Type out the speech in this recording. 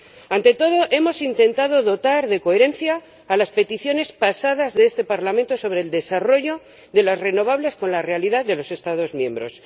Ante todo, hemos intentado dotar de coherencia a las peticiones pasadas de este Parlamento sobre el desarrollo de las renovables con la realidad de los Estados miembros.